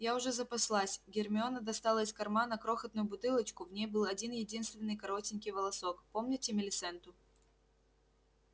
я уже запаслась гермиона достала из кармана крохотную бутылочку в ней был один-единственный коротенький волосок помните милисенту